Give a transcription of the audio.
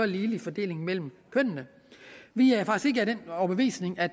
ligelig fordeling mellem kønnene vi er faktisk den overbevisning at